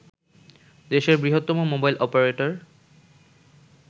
দেশের বৃহত্তম mobile operator